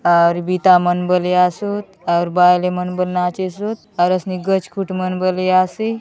और बीता मन बलिया सूत और बाले मन बू नाचे सूत और इसने गजकुट मन बलिया सी--